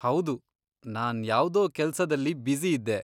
ಹೌದು! ನಾನ್ ಯಾವ್ದೋ ಕೆಲ್ಸದಲ್ಲಿ ಬ್ಯುಸಿ ಇದ್ದೆ.